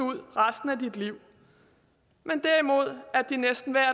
ud resten af dit liv men derimod at de næsten hver